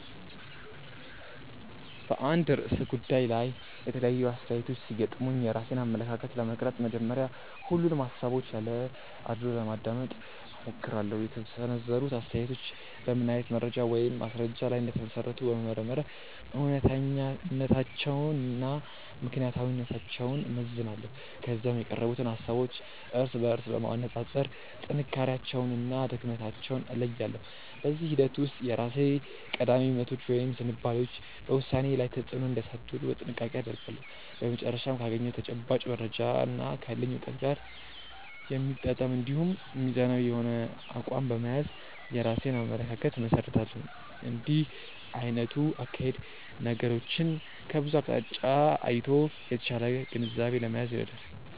በአንድ ርዕሰ ጉዳይ ላይ የተለያዩ አስተያየቶች ሲገጥሙኝ የራሴን አመለካከት ለመቅረጽ መጀመሪያ ሁሉንም ሃሳቦች ያለ አድልዎ ለማዳመጥ እሞክራለሁ። የተሰነዘሩት አስተያየቶች በምን አይነት መረጃ ወይም ማስረጃ ላይ እንደተመሰረቱ በመመርመር እውነተኛነታቸውንና ምክንያታዊነታቸውን እመዝናለሁ። ከዚያም የቀረቡትን ሃሳቦች እርስ በርስ በማነጻጸር ጥንካሬያቸውንና ድክመታቸውን እለያለሁ። በዚህ ሂደት ውስጥ የራሴ ቀዳሚ እምነቶች ወይም ዝንባሌዎች በውሳኔዬ ላይ ተጽዕኖ እንዳያሳድሩ ጥንቃቄ አደርጋለሁ። በመጨረሻም ካገኘሁት ተጨባጭ መረጃና ካለኝ እውቀት ጋር የሚጣጣም እንዲሁም ሚዛናዊ የሆነ አቋም በመያዝ የራሴን አመለካከት እመሰርታለሁ። እንዲህ አይነቱ አካሄድ ነገሮችን ከብዙ አቅጣጫ አይቶ የተሻለ ግንዛቤ ለመያዝ ይረዳል።